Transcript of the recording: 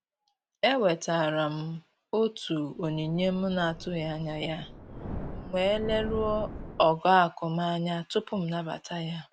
E nwetara m otu onyinye m na-atụghị anya ya, m wee leruo ogo akụ m anya tupu m nabata ya